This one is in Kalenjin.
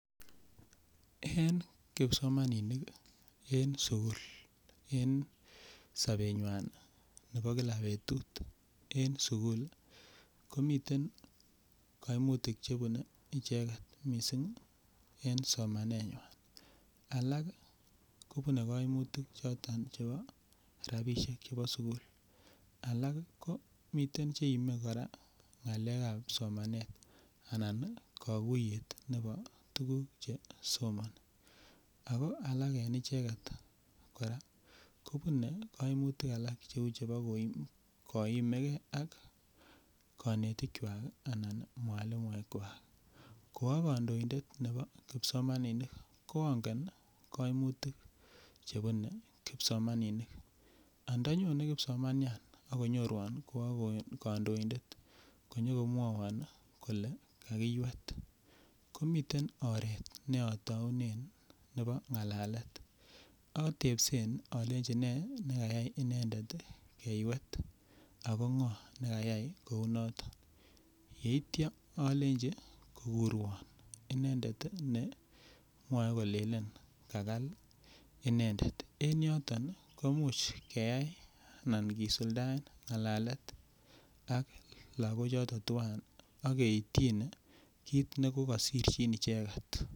En kipsomaninik en sukul en sobenywan nebo kila betut en sukul komiten koimutik chebune icheket en sukul en somanenywan, alak kobune koimutik choton chebo rabisshek chebo sukul alak ko miten cheime kora ngalekab somanet anan kokuyet nebo tukuk chesomoni ak ko alak en icheket kora kobune koimutik alak cheu chebo koimeke ak konetikwak anan mwalimuekwak, ko okondointet nebo kipsomaninik ko ongen koimutik chebune kipsomaninik andanyone kipsomanian ak konyon konyorwon ko akondointet konyo komwowon kole kakiiwet komiten oret notounen nebo ngalalet, otebsen olenji nee nekayai inendet keiwet ak ko ngo nekayai kou noton ak kityo olenji kokurwon inendet ne mwoee kolelen kakaal inendet, en yoton koimuch keyai anan kisuldaen ak lokok choton twan ak keityine kiit nekokosirchin icheket.